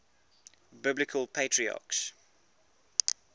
biblical patriarchs